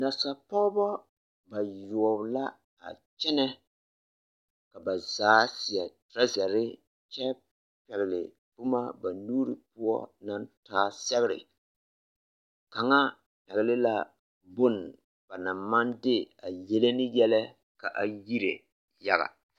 Nasapɔgbɔ bayoɔ la a kyɛnɛ ka ba zaa seɛ torɔzerii kyɛ pɛgli boma ba nuuri poɔ naŋ taa sɛgre kaŋa pɛgli la bon ba naŋ maŋ de a yele ne yɛlɛ ka a yire yaga.